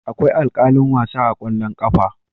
Akwai alkalin wasa a kwallon kafa.